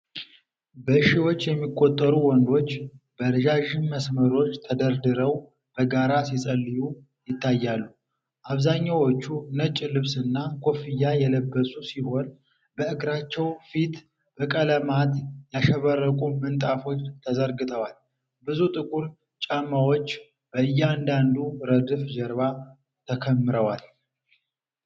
በሺዎች የሚቆጠሩ ወንዶች በረዣዥም መስመሮች ተደርድረው በጋራ ሲጸልዩ ይታያሉ። አብዛኛዎቹ ነጭ ልብስና ኮፍያ የለበሱ ሲሆን፤ በእግራቸው ፊት በቀለማት ያሸበረቁ ምንጣፎች ተዘርግተዋል። ብዙ ጥቁር ጫማዎች በእያንዳንዱ ረድፍ ጀርባ ተከምረዋል።